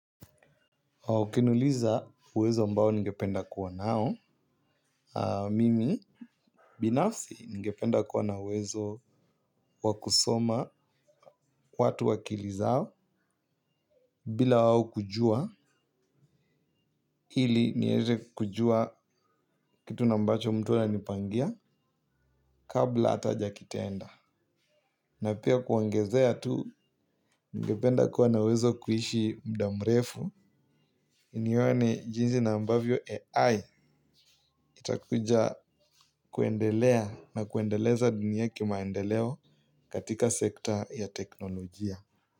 Ukiniuliza uwezo ambao ningependa kuwa nao, mimi binafsi ningependa kuwa na uwezo wa kusoma watu akili zao bila wao kujua ili niweze kujua kitu na ambacho mtu ananipangia kabla hata hajakitenda. Na pia kuongezea tu ningependa kuwa na uwezo wa kuishi muda mrefu. Nione jinsi na ambavyo AI itakuja kuendelea na kuendeleza dunia kimaendeleo katika sekta ya teknolojia.